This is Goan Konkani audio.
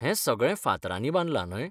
हें सगळें फातरांनी बांदलां, न्हय?